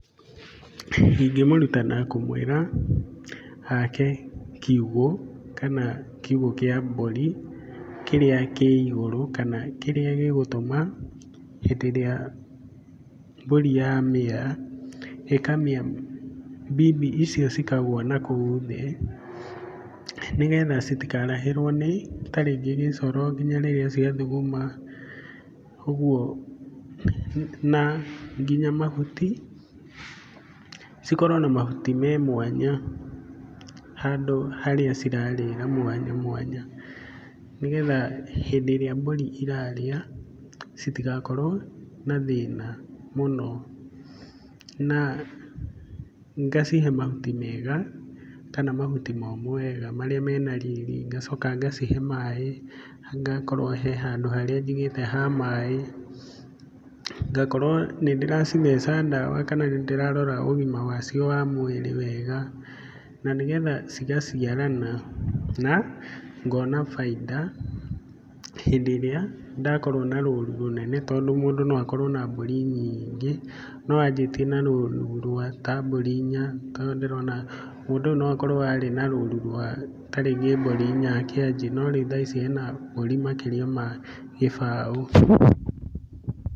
Ingĩmũruta na kũmwĩra ake kiugũ kana kiugũ kĩa mbũri, kĩrĩa kĩ igũrũ kana kĩrĩa gĩgũtũma hĩndĩ ĩrĩa mbũri ya mĩa, ĩkamĩa mbimbi icio cikagũa na kũu thĩ, nĩgetha itikarahĩrwo ta rĩngĩ nĩ gĩcoro hĩndĩ ĩrĩa cia thuguma, ũguo na nginya na mahuti, cikorwo na mahuti me mwanya handũ harĩa cirarĩra mwanya mwanya, nĩgetha hĩndĩ ĩrĩa mbũri irarĩa, citigakorwo na thĩna mũno, na ngacihe mahuti mega kana mahuti momũ wega marĩa mena riri, ngacoka ngacihe maĩ, ngakorwo he handũ harĩa njigĩte ha maĩ, ngakorwo nĩ ndĩracitheca ndawa kana nĩ ndĩrarora ũgima wacio wa mwĩrĩ wega, na nĩ getha cigaciarana na ngona bainda hĩndĩ ĩrĩa ndakorwo na rũru rũnene, tondũ mũndũ no akorwo na mbũri nyingĩ, no ambĩtie na rũru rwa mburi ta inya, tondũ ndĩrona mũndũ ũyũ no okorwo arĩ na rũru rwa ta rĩngĩ mbũri inya akĩanjia, no rĩu ena mbũri makĩria ma gĩbaũ.